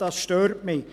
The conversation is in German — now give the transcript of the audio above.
Das stört mich.